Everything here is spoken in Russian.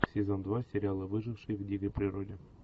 сезон два сериал выжившие в дикой природе